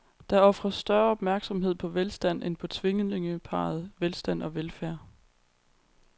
Der ofres større opmærksomhed på velstand end på tvillingeparret velstand og velfærd.